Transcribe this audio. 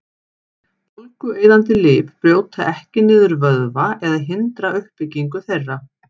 Bólgueyðandi lyf brjóta ekki niður vöðva eða hindra uppbyggingu þeirra.